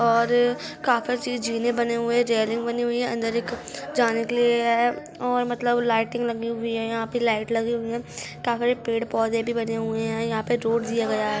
और अ काफेर ची जीने बने हुए जेरिंग बनी हुई है अंदर एक जाने के लिए ऐऐ और मतलब लाइटिंग लगी हुई है यहाँ पे लाइट लगी हुई है काफ्रि पेड़ पौधे भी बने हुए है यहाँ पे रोड जिया गया हैं।